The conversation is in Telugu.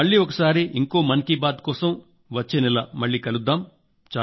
మళ్లీ ఒకసారి ఇంకో మన్ కీ బాత్ కోసం వచ్చే నెల కలుద్దాం